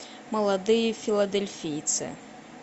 молодые филадельфийцы